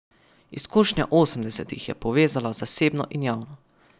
Izkušnja osemdesetih je povezala zasebno in javno.